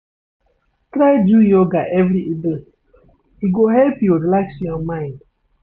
Try do yoga every evening, e go help you relax your mind.